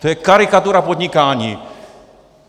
To je karikatura podnikání.